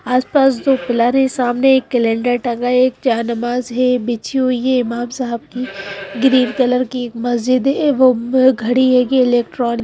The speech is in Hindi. आसपास जो हैसामने एक कैलन्डर टंगा है एक जाननमाज़ है बिछी हुई हे इमाम साहब की एक मस्जिद है वो घड़ी हे इलेक्ट्रॉनिक --